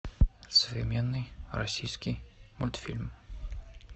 современный российский мультфильм